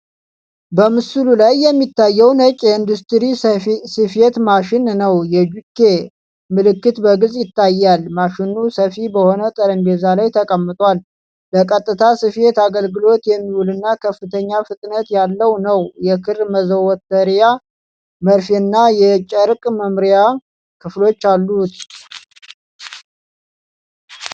በምስሉ ላይ የሚታየው ነጭ የኢንዱስትሪ ስፌት ማሽን ነው። የጁኪ (JUKI) ምልክት በግልጽ ይታያል። ማሽኑ ሰፊ በሆነ ጠረጴዛ ላይ ተቀምጧል፤ ለቀጥታ ስፌት አገልግሎት የሚውልና ከፍተኛ ፍጥነት ያለው ነው። የክር መዘውተሪያ፣ መርፌና የጨርቅ መምሪያ ክፍሎች አሉት።